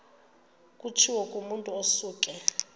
kutshiwo kumotu osuke